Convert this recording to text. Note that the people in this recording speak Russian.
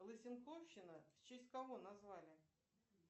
лысенковщина в честь кого назвали